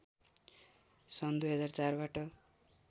सन् २००४ बाट